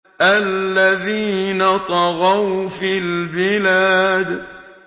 الَّذِينَ طَغَوْا فِي الْبِلَادِ